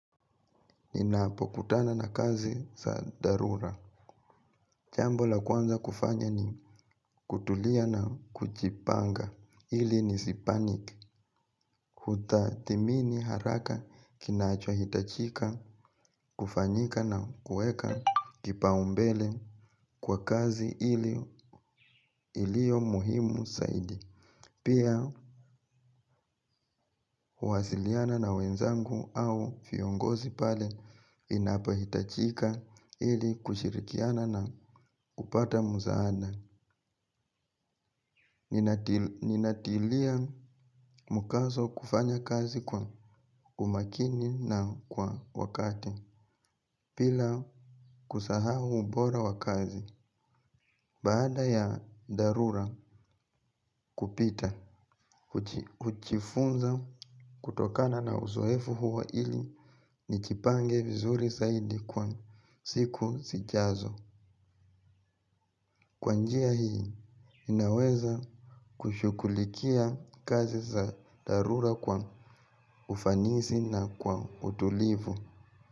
Ninapo kutana na kazi za dharura jambo la kwanza kufanya ni kutulia na kujipanga ili nisi panik kutathmini haraka kinacho hitajika kufanyika nakuweka kipaumbele kwa kazi ili ilio muhimu zaidi. Pia huasiliana na wenzangu au viongozi pale inapo itajika ili kushirikiana na kupata msaada. Ninatilia mkazo kufanya kazi kwa umakini na kwa wakati bila kusahau ubora wa kazi. Baada ya dharura kupita hujifunza kutokana na uzoefu huo ili nijipange vizuri zaidi kwa siku zijazo. Kwa njia hii inaweza kushughulikia kazi za dharura kwa ufanisi na kwa utulivu.